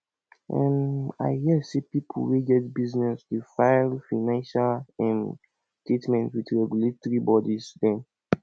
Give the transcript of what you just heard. um i hear sey pipo wey get business dey file financial um statement with regulatory bodies dem